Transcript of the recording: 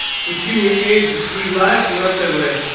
включи мне эйч ди лайф на тв